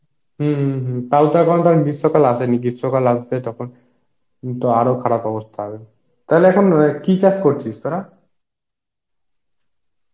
হম হম টাও তো এখন তো গ্রীষ্ম কাল আসেনি, গ্রীষ্ম কাল আসলে তখন তো আরো খারাপ অবস্থা হবে, তাহলে এখন কি চাস করছিস তরা?